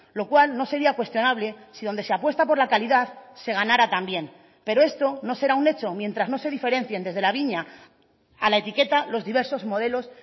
lo cual no sería cuestionable si donde se apuesta por la calidad se ganara también pero esto no será un hecho mientras no se diferencien desde la viña a la etiqueta los diversos modelos